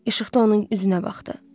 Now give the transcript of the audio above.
İşıqda onun üzünə baxdı.